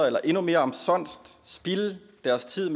eller endnu mere omsonst spilde deres tid